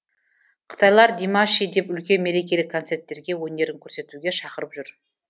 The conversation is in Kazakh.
қытайлар димаши деп үлкен мерекелік концерттерге өнерін көрсетуге шақырып жүр